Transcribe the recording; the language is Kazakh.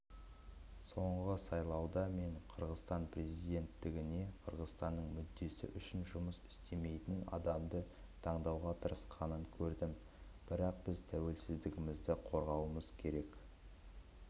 соңғы сайлауда мен қырғызстан президенттігіне қырғызстанның мүддесі үшін жұмыс істемейтін адамды таңуға тырысқанын көрдім бірақ біз тәуелсіздігімізді қорғауымыз керек